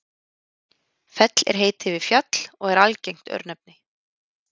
fell er heiti yfir fjall og er algengt örnefni